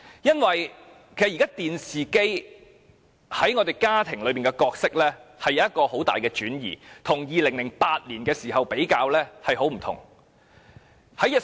現時，電視機在家中的角色已出現很大的轉移，與2008年時大不相同。